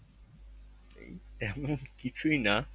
এই তেমন কিছুই না